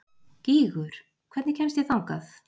Gígur, hvernig kemst ég þangað?